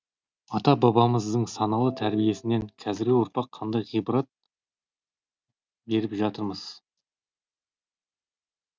ата бабамыздың саналы тәрбиесінен қазіргі ұрпақ қандай ғибарат беріп жатырмыз